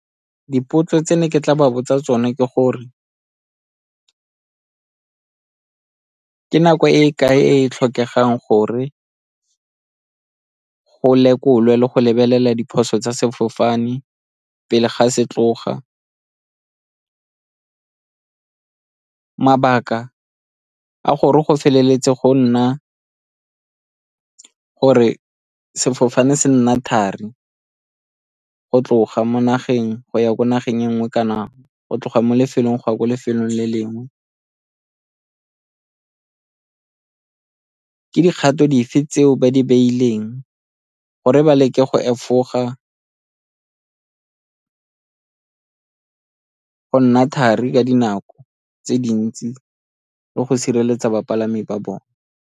Dipotso tse ne ke tla ba botsa tsone ke gore ke nako e e kae e tlhokegang gore go lekolwe le go lebelela diphoso tsa sefofane pele ga se tloga? Mabaka a gore go feleletse go nna gore sefofane se nna thari go tloga mo nageng go ya ko nageng e nngwe kana go tloga mo lefelong go ya ko lefelong le lengwe? Ke dikgato dife tseo ba di ke gore ba leke go efoga go nna thari ka dinako tse dintsi le go sireletsa bapalami ba bone?